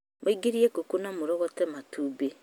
Mũingĩrie ngũkũ na mũrogote matumbĩ